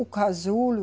O casulo,